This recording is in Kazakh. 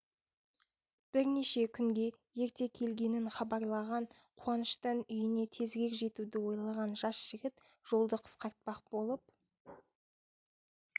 бірнеше күнге ерте келгенін хабарлаған қуаныштан үйіне тезірек жетуді ойлаған жас жігіт жолды қысқартпақ болып